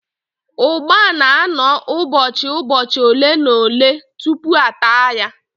Ụgba na-anọ ụbọchị ụbọchi ole na ole tupu a taa ya